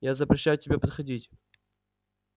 я запрещаю тебе подходить